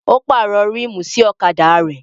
Ó pàrọ̀ ríìmù sí ọ̀kadà rẹ̀